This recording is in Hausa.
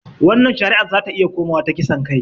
Wannan shari'ar zata iya komawa ta kisan kai